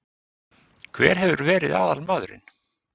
Hver hefur verið aðalmaðurinn?